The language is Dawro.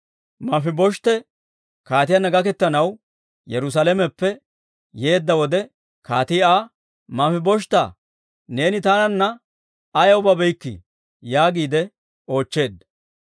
Manfibosheete kaatiyaanna gaketanaw Yerusalameppe yeedda wode, kaatii Aa, «Manfibosheetaa, neeni taananna ayaw babeykkii?» yaagiide oochcheedda.